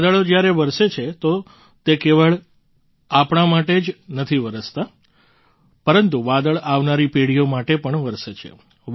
વાદળો જ્યારે વરસે છે તો કેવળ આપણા માટે જ નહીં વરસતા પરંતુ વાદળ આવનારી પેઢીઓ માટે પણ વરસે છે